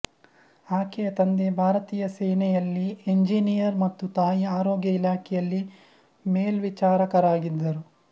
ಆಕೆಯ ತಂದೆ ಭಾರತೀಯ ಸೇನೆಯಲ್ಲಿ ಎಂಜಿನಿಯರ್ ಮತ್ತು ತಾಯಿ ಆರೋಗ್ಯ ಇಲಾಖೆಯಲ್ಲಿ ಮೇಲ್ವಿಚಾರಕರಾಗಿದ್ದರು